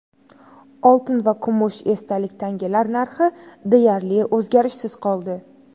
Oltin va kumush esdalik tangalar narxi deyarli o‘zgarishsiz qoldi.